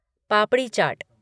पापड़ी चाट